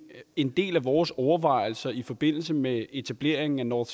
en del af vores overvejelser i forbindelse med etableringen af nord